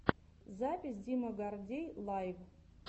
запись дима гордей лайв